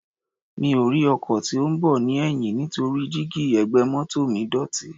Mi ò rí ọkọ̀ tí ó ń bọ̀ ní ẹ̀yìn nítorí díígí ẹ̀gbẹ́ mọ́tọ̀ mi dọ̀tí.